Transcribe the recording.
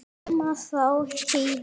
Þá koma þeir yfir Helju.